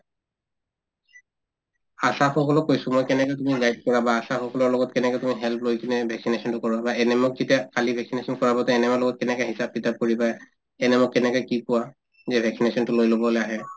আশাসকলক কৈছো মই কেনেকে তুমি guide কৰা বা আশাসকলকৰ লগত কেনেকে তুমি help লৈ কিনে vaccination তো কৰোৱা বা ANM ক খালি vaccination কৰাব ANM ৰ লগত কেনেকে হিচাপ-কিতাপ কৰিবা ANM ক কেনেকে কি কোৱা যে vaccination তো লৈ লবলে আহে